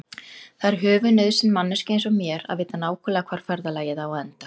Það er höfuðnauðsyn manneskju einsog mér að vita nákvæmlega hvar ferðalagið á að enda.